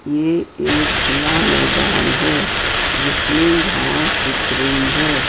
ये एक खुला मैदान है जिसमें घास दिख रही है।